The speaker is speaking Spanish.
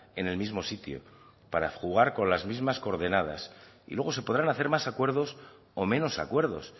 en el mismo sitio para jugar con las mismas coordenadas y luego se podrán hacer más acuerdos o menos acuerdos